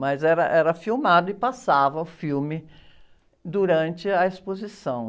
Mas era, era filmado e passava o filme durante a exposição.